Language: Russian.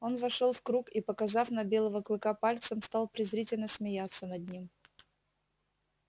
он вошёл в круг и показав на белого клыка пальцем стал презрительно смеяться над ним